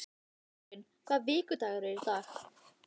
Þráinn, hvaða vikudagur er í dag?